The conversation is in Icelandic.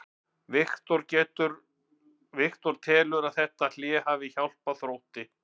Viktor telur að þetta hlé hafi hjálpað Þrótti.